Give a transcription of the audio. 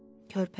Körpəmi?